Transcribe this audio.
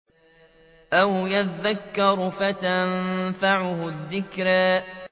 أَوْ يَذَّكَّرُ فَتَنفَعَهُ الذِّكْرَىٰ